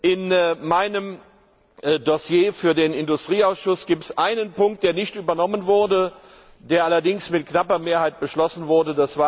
In meinem Dossier für den Industrieausschuss gibt es einen Punkt, der nicht übernommen wurde, der allerdings mit knapper Mehrheit beschlossen wurde.